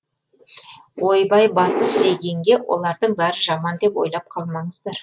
ойбай батыс дегенге олардың бәрі жаман деп ойлап қалмаңыздар